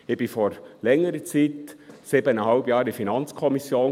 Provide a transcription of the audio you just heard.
Ich war vor längerer Zeit siebeneinhalb Jahre in der FiKo;